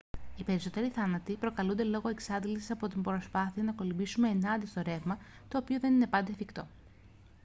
οι περισσότεροι θάνατοι προκαλούνται λόγω εξάντλησης από την προσπάθεια να κολυμπήσουμε ενάντια στο ρεύμα το οποίο δεν είναι πάντα εφικτό